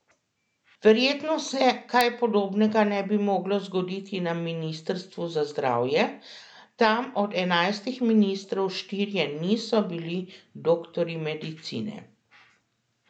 Verjetno se kaj podobnega ne bi moglo zgoditi na ministrstvu za zdravje, tam od enajstih ministrov štirje niso bili doktorji medicine.